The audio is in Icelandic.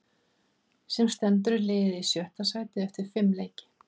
Sem stendur er liðið í sjötta sæti eftir fimm leiki.